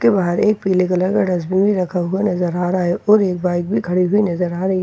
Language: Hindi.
के बाहर एक पीले कलर का डस्टबिन भी रखा हुआ नजर आ रहा है और एक बाइक भी खड़ी हुई नजर आ रही है।